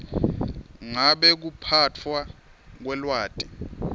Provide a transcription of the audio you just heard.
ngabe kuphatfwa kwelwati